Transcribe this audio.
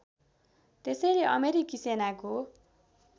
त्यसैले अमेरिकी सेनाको